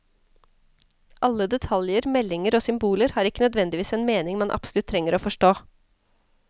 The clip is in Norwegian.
Alle detaljer, meldinger og symboler har ikke nødvendigvis en mening man absolutt trenger å forstå.